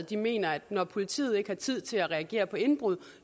de mener at når politiet ikke har tid til at reagere på indbrud